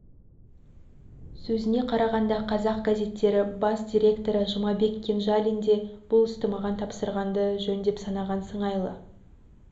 сөзіне қарағанда қазақ газеттері бас директоры жұмабек кенжалин де бұл істі маған тапсырғанды жөн деп санаған сыңайлы